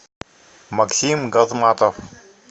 максим газматов